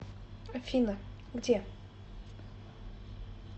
афина где